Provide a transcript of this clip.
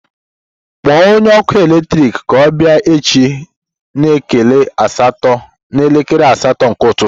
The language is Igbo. Kpọọ onye ọkụ eletrik ka ọ bịa echi n'elekere asatọ nke ụtụtụ